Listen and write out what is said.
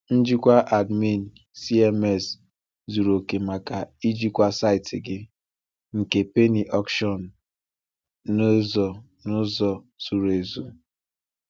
Njikwa Admin CMS zuru oke maka ijikwa saịtị gị nke penny auction n’ụzọ n’ụzọ zuru ezu.